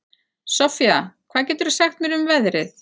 Soffía, hvað geturðu sagt mér um veðrið?